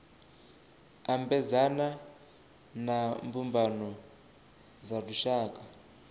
ambedzana na mbumbano dza lushaka